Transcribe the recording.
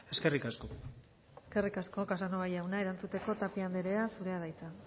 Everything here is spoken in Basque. eskerrik asko eskerrik asko casanova jauna erantzuteko tapia anderea zurea da hitza